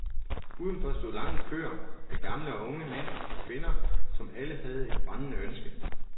Udenfor stod lange køer af gamle og unge, mænd og kvinder, som alle havde et brændende ønske.